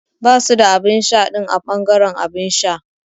Basu da abinsha din a bangaren abinsha.